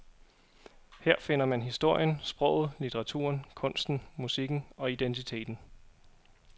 Her finder man historien, sproget, litteraturen, kunsten, musikken og identiteten.